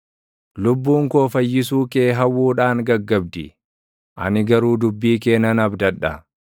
Lubbuun koo fayyisuu kee hawwuudhaan gaggabdi; ani garuu dubbii kee nan abdadha.